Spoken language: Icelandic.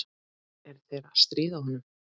Er þeir að stríða honum?